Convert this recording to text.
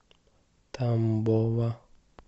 тамбова